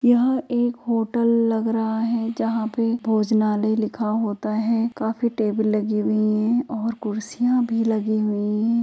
यह एक होटल लग रहा है जहां पे भोजनालय लिखा होता है काफी टेबल लगी हुई है और कुर्सियां भी लगी हुई हैं ।